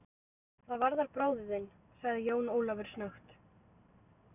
Það varðar bróður þinn, sagði Jón Ólafur snöggt.